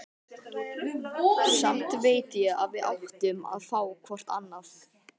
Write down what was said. Samt veit ég að við áttum að fá hvort annað.